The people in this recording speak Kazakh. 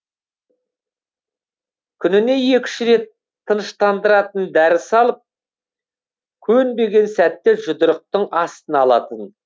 күніне екі үш рет тыныштандыратын дәрі салып көнбеген сәтте жұдырықтың астына алатын